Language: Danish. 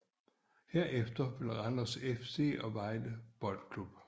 Herefter Randers FC og Vejle Boldklub